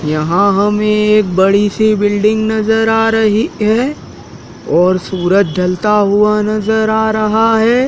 यहां हमें एक बड़ी सी बिल्डिंग नजर आ रही है और सूरज ढलता हुआ नजर आ रहा है।